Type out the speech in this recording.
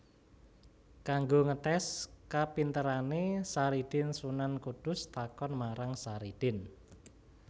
Kanggo ngetès kapinterané Saridin Sunan Kudus takon marang Saridin